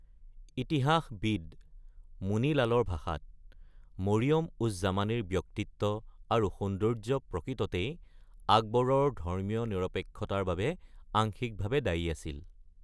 ইতিহাসবিদ মুনি লালৰ ভাষাত, 'মৰিয়ম-উজ-জামানীৰ ব্যক্তিত্ব আৰু সৌন্দৰ্য্য প্ৰকৃততেই আকবৰৰ ধৰ্মীয় নিৰপেক্ষতাৰ বাবে আংশিকভাৱে দায়ী আছিল।'